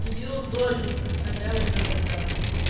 кирилл зожник а я уже да